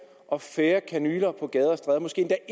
og færre kanyler på gader og stræder måske